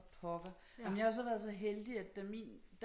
For pokker jamen jeg har jo været så heldig at da min